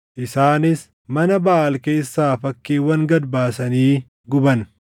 Isaanis mana Baʼaal keessaa fakkiiwwan gad baasanii guban.